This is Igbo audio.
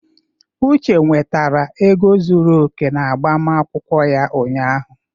Uche nwetara ego zuru oke n'agbamakwụkwọ ya ụnyahụ.